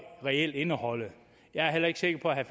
reelt skal indeholde jeg er heller ikke sikker på at